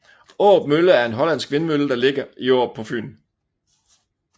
Aarup Mølle er en hollandsk vindmølle der ligger i Aarup på Fyn